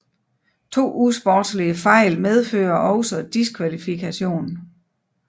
To usportslige fejl medfører også diskvalifikation